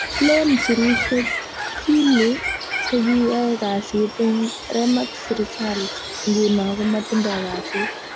Len sirushek Killie ko ki ae kasit ing Remax Results nguno ko matindoi kasit.